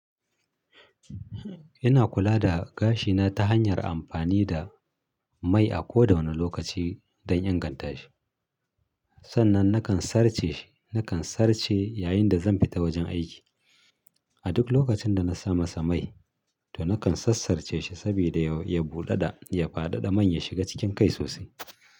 Ina kula da gashi na ta hanyar amfani da mai a koda wani lokaci don inganta shi. Sannan nakan sarce shi, nakan sarce yayin da zan fita wajen aiki. A duk lokacin da na samasa mai to nakan sassarce shi saboda ya buɗu da ya fadada man ya shiga cikin kai sosai.